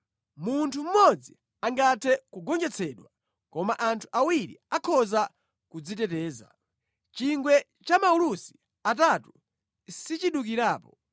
Munthu mmodzi angathe kugonjetsedwa, koma anthu awiri akhoza kudziteteza. Chingwe cha maulusi atatu sichidukirapo.